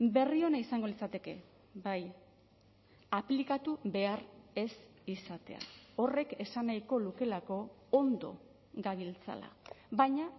berri ona izango litzateke bai aplikatu behar ez izatea horrek esan nahiko lukeelako ondo gabiltzala baina